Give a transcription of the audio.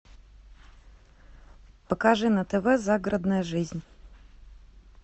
покажи на тв загородная жизнь